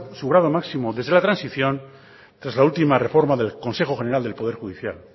su grado máximo desde la transición tras la última reforma del consejo general del poder judicial